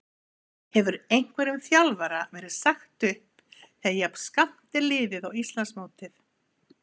Hefur einhverjum þjálfara verið sagt upp þegar jafn skammt er liðið á Íslandsmótið?